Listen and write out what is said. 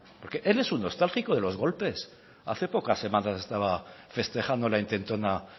porque él es un nostálgico de los golpes hace pocas semanas estaba festejando la intentona